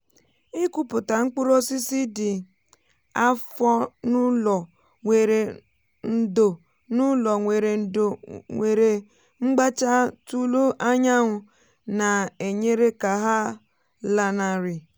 ịkụpụta mkpụrụ osisi dị afọ n’ụlọ nwéré ndò n’ụlọ nwéré ndò nwere mgbacha tulu anyanwụ na-enyere ka ha lanarị.